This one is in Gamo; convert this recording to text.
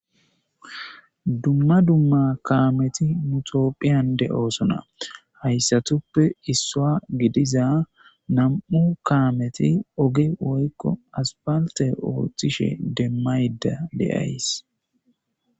dumma dumma kaameti mutopphiyan de7oosona hayssatuppe issua gidiza nam7u kaameti oge woykko aspalte ooththishe demmayda deays